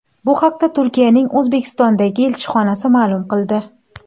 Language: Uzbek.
Bu haqda Turkiyaning O‘zbekistondagi elchixonasi ma’lum qildi.